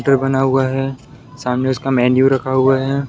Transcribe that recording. बना हुआ है सामने उसका मेनू रखा हुआ है।